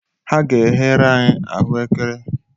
Ha ga-eghere anyi ahụekere.